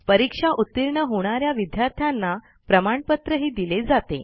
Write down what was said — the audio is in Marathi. परीक्षा उतीर्ण होणा या विद्यार्थ्यांना प्रमाणपत्रही दिले जाते